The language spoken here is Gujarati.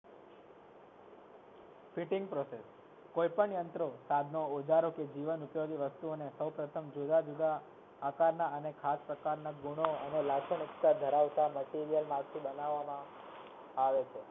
Fitting process કોઈ પન યંત્રો સાધનો કે ઓઝારો કે જીવન ઉપયોગી વસ્તુઓ ને સૌપ્રથમ જુદા જુદા આકાર ના અને ખાસ પ્રકાર ના ગુણો ધરાવતા material માં થી બનાવ માં આવે છે